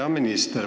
Hea minister!